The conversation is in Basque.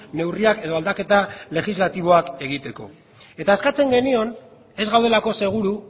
neurriak edo aldaketa legislatiboak egiteko eta eskatzen genion ez gaudelako seguru